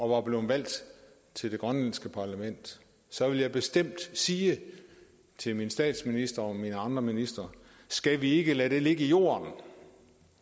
var blevet valgt til det grønlandske parlament så ville jeg bestemt sige til min statsminister og mine andre ministre skal vi ikke lade det ligge i jorden